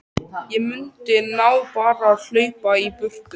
Ég mundi nú bara hlaupa í burtu.